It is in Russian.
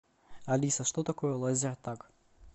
алиса что такое лазертаг